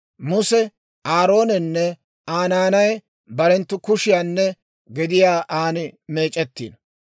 Muse, Aaroonenne Aa naanay barenttu kushiyaanne gediyaa an meec'ettiino.